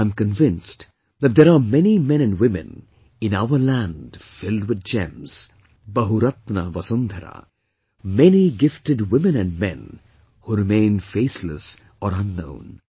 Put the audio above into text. I am convinced that there are many men and women in our land filled with gems, BahuratnaVasundhara, many gifted women and men who remain faceless or unknown